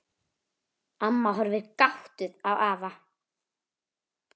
Amma horfir gáttuð á afa.